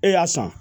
E y'a san